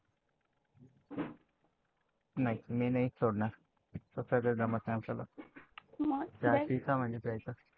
नाही मी नाही सोडणार, त्याच्याशिवाय जमत नाही आपल्याला. चहा प्यायचं म्हणजे प्यायचं.